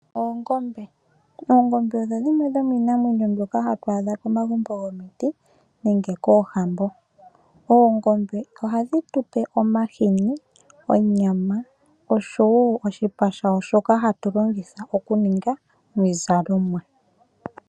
Oongombe. Oongombe odho dhimwe dhomiinamwenyo mbyoka hatu adha komagumbo gomiti nenge koohambo . Oongombe ohadhi tupe omahini, onyama oshowo oshipa shayo shoka hatulongitha okuninga omizalo.